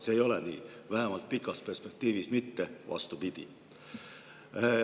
See ei ole nii, vähemalt pikas perspektiivis mitte, on just vastupidi.